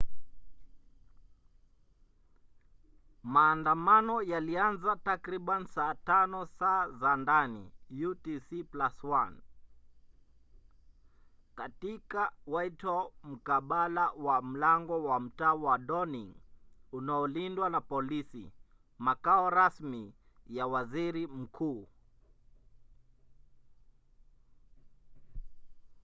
maandamano yalianza takriban saa 5 saa za ndani utc+1 katika whitehall mkabala na mlango wa mtaa wa downing unaolindwa na polisi makao rasmi ya waziri mkuu